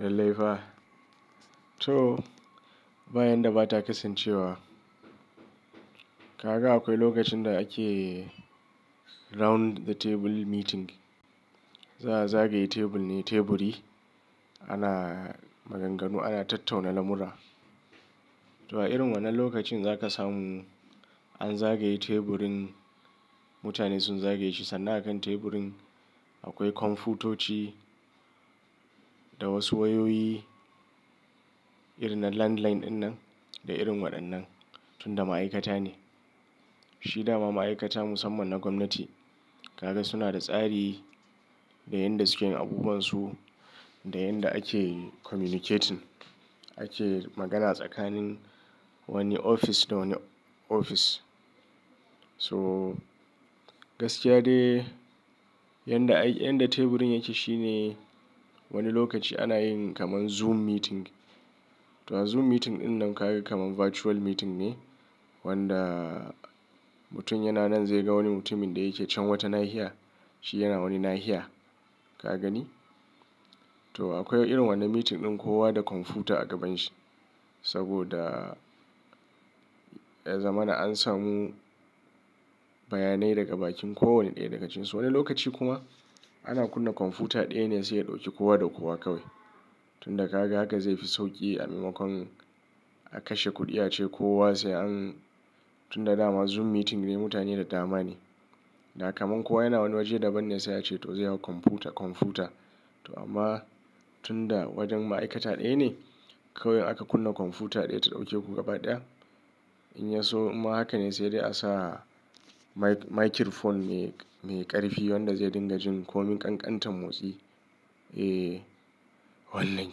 Lailai fa to, bayan da ba ta kasancewa, kaga akwai lokacin da ake round the table meeting. Za a zagaye table ne, teburi ana maganganu, ana tattauna lamura. To a irin wannan lokacin za ka samu an zagaye teburin, mutane sun zagaye shi sannan a kan teburin akwai kwamfutoci da wasu wayoyi irin na landline ɗinnan da irin waɗannan, tun da ma'aikata ne. Shi dama ma'aikata musamman na gwamnati. Kaga suna da tsari da yanda suke abubuwansu, da yanda ake communicating, ake magana tsakanin wani ofis da wani ofis. So gaskiya de yanda, yanda teburin yake shine wani lokaci ana yin kamar zoom meeting. To a zoom meeting ɗinnan kaga kamar virtual meeting ne wanda mutum yana nan zai ga wani mutumin da yake can wata nahiya, shi yana wani nahiya. Ka gani? To akwai irin wannan meeting ɗin kowa da kwamfuta a gabanshi saboda ya zamana an samu bayanai daga bakin kowane ɗaya daga cikin su. Wani lokaci kuma ana kunna kwamfuta ɗaya ne sai ya ɗauki kowa da kowa kawai. Tun da kaga haka zai fi sauƙi a maimakon a kashe kuɗi ace kowa sai an Tun da dama zoom meeting ne mutane da dama ne. Da kamar kowa yana wani waje daban ne sai a ce to zai hau kwamfuta, kwamfuta. To amma tun da wajen ma'aikata ɗaya ne kawai aka kunna kwamfuta ɗaya ta ɗauke ku gaba ɗaya. In ya so ma haka ne sai dai a sa microphone mai, mai ƙarfi wanda zai dinga jin komin ƙanƙantan motsi. Eh, wannan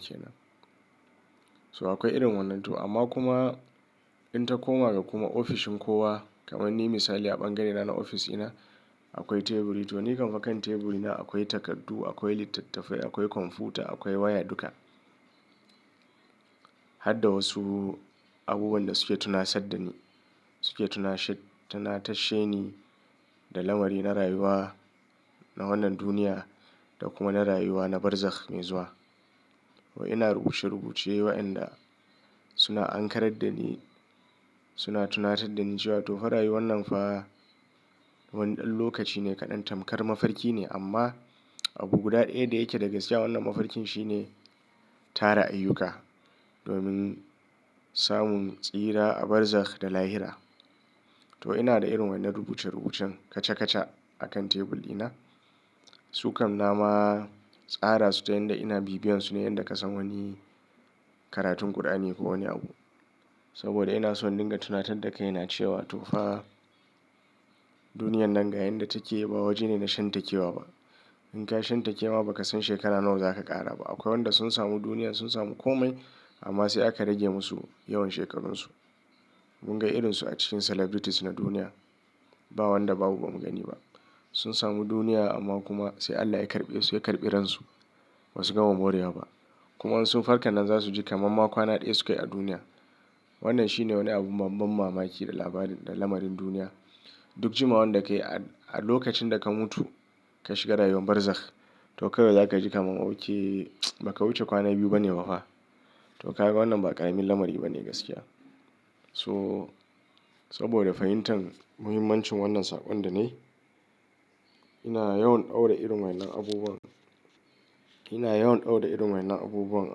ke nan. So akwai irin wannan. To amma kuma in ta koma ga kuma ofishin kowa kamar ni misali a bangare na na ofis ina akwai teburi. To ni kaman kan teburi na akwai takardu, akwai littattafai, akwai kwamfuta, akwai waya duka. Hadda wasu abubuwan da suke tuna sadda ni, suke tuna sha-tuna tashe ni da lamari na rayuwa, na wannan duniya da kuma na rayuwa na barzak mai zuwa. Ina rubuce-rubuce wa'inda suna ankarar da ni, suna tunatar da ni cewa to fa rayuwan nan fa wani ɗan lokaci ne kaɗan, tamkar mafarki ne amma abu guda ɗaya da yake da gaskiya wannan mafarkin shine tara ayyuka domin samun tsira a barzakh da lahira. To ina da irin wannan rubuce-rubucen kaca-kaca a kan tebur dina. Su kam na ma tsara su ta yanda ina bibiyansu ne inda ka san wani karatun Kur'ani ko wani abu. Saboda ina so in dinga tunatar da kaina cewa to fa duniyan nan ga yanda take ba waje ne na shan take wa ba. In ka shan take ma ba ka san shekara nawa za ka ƙara ba. Akwai wanda sun samu duniya, sun samu komai amma sai aka rage musu yawan shekarunsu. Mun ga irin su a cikin celebrities na duniya. Ba wanda babu ba mu gani ba. Sun samu duniya amma kuma sai Allah ya karɓe su, ya karɓe ransu. Ba su gama borewa ba kuma sun farka nan za su ji kamar ma kwana ɗaya sukayi a duniya. Wannan shi ne wani abu ban mamaki da labarin da lamarin duniya. Duk jima wannan da ka yi a lokacin da ka mutu ka shiga rayuwar barzak to kawai za ka ji kamar ok, ba ka wuce kwana biyu ba ne ba fa. To kaga wannan ba ƙaramin lamari ba ne gaskiya. So saboda fahimtar muhimmancin wannan saƙon da na yi ina yawan daura irin wannan abubuwan. Ina yawan daura irin wannan abubuwan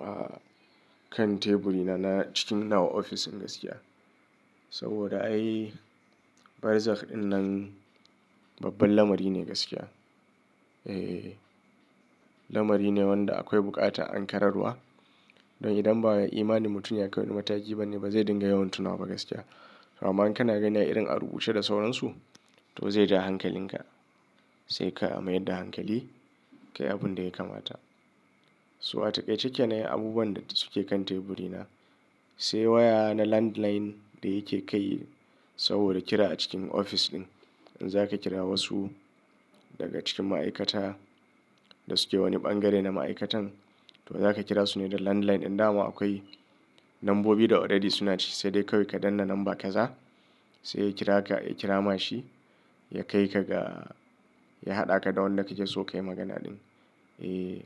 a kan teburi na na cikin nawa ofis gaskiya. Saboda ai barzakh ɗinnan babban lamari ne gaskiya. Eh. Lamari ne wanda akwai buƙata an kararwa. Don idan ba imani mutum ya kai wani mataki ba ne ba zai dinga yawan tuna wa ba gaskiya. Amma in kana gani a irin a rubuce da sauransu to zai ja hankalin ka. Sai ka mayar da hankali kai abun da ya kamata. So a taƙaice kenan abubuwan da suke kan teburi na sai waya na landline da yake kai saboda kira a cikin ofis ɗin. In za ka kira wasu daga cikin ma'aikata da suke wani bangare na ma'aikatan to za ka kira su ne da landline. In dama akwai lambobi da already suna ciki sai dai kawai ka danna lamba ka za. Sai ya kira ka, ya kira ma shi ya kai ka ga, ya haɗaka da wanda kake so kayi magana ɗin. Eh.